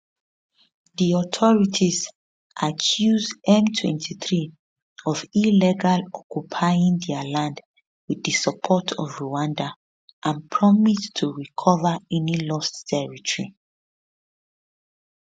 di authorities accuse m23 of illegally occupying dia land with di support of rwanda and promise to recover any lost territory